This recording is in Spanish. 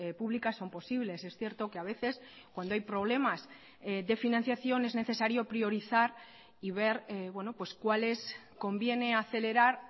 públicas son posibles es cierto que a veces cuando hay problemas de financiación es necesario priorizar y ver cuáles conviene acelerar